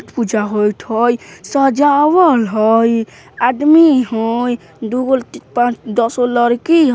पूजा होइत हई सजावल हई आदमी हई दुगो पाँच दसगो लड़की हई।